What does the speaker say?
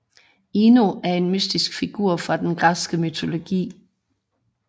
Ino er en mytisk figur fra den græske mytologi